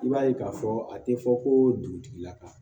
I b'a ye k'a fɔ a tɛ fɔ ko dugutigi la ka